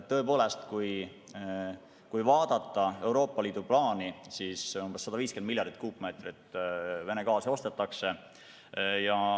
Tõepoolest, kui vaadata Euroopa Liidu plaani, siis 150 miljardit kuupmeetrit Vene gaasi ostetakse.